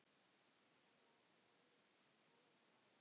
Hann var sagður góður málari.